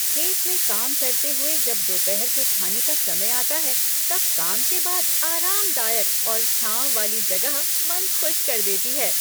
खेत में काम करते हुए जब दोपहर के खाने का समय आता है, तब काम के बाद आरामदायक और छांव वाली जगह मन खुश कर देती है।